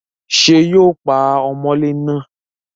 ṣé yóò pa ọmọlé náà?